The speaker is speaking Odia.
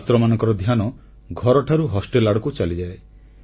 ଛାତ୍ରମାନଙ୍କର ଧ୍ୟାନ ଘରଠାରୁ ହୋଷ୍ଟେଲ ଆଡ଼କୁ ଚାଲିଯାଏ